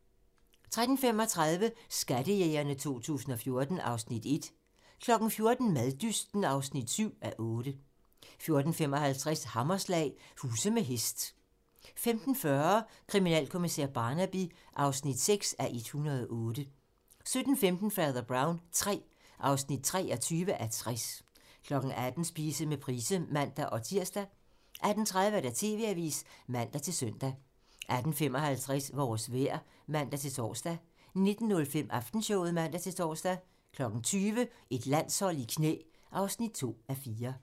13:35: Skattejægerne 2014 (Afs. 1) 14:00: Maddysten (7:8) 14:55: Hammerslag - huse med hest 15:40: Kriminalkommissær Barnaby (6:108) 17:15: Fader Brown III (23:60) 18:00: Spise med Price (man-tir) 18:30: TV-avisen (man-søn) 18:55: Vores vejr (man-tor) 19:05: Aftenshowet (man-tor) 20:00: Et landshold i knæ (2:4)